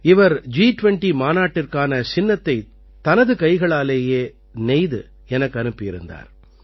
இவர் ஜி20 மாநாட்டிற்கான சின்னத்தைத் தனது கைகளாலேயே நெய்து எனக்கு அனுப்பியிருந்தார்